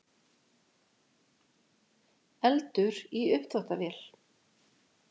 Eldur í uppþvottavél